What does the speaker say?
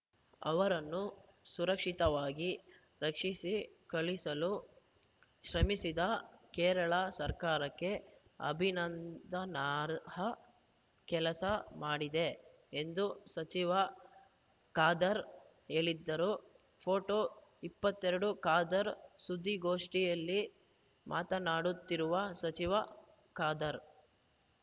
ಅವರನ್ನು ಸುರಕ್ಷಿತವಾಗಿ ರಕ್ಷಿಸಿ ಕಳಿಸಲು ಶ್ರಮಿಸಿದ ಕೇರಳ ಸರ್ಕಾರಕ್ಕೆ ಅಭಿನಂದನಾರ್ಹ ಕೆಲಸ ಮಾಡಿದೆ ಎಂದು ಸಚಿವ ಖಾದರ್‌ ಹೇಳಿದ್ದರು ಫೋಟೊ ಇಪ್ಪತ್ತೆರಡು ಖಾದರ್‌ ಸುದ್ದಿಗೋಷ್ಠಿಯಲ್ಲಿ ಮಾತನಾಡುತ್ತಿರುವ ಸಚಿವ ಖಾದರ್‌